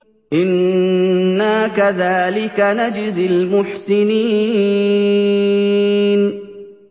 إِنَّا كَذَٰلِكَ نَجْزِي الْمُحْسِنِينَ